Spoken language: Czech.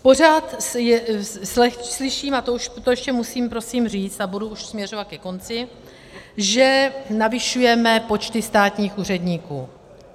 Pořád slyším, a to ještě musím prosím říci a budu už směřovat ke konci, že navyšujeme počty státních úředníků.